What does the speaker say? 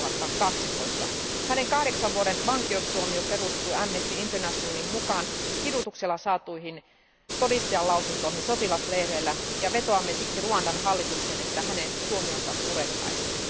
2012. Hänen kahdeksan vuoden vankeustuomionsa perustuu Amnesty Internationalin mukaan kidutuksella saatuihin todistajanlausuntoihin sotilasleireillä. Vetoamme siksi Ruandan hallitukseen, että hänen tuomionsa purettaisiin.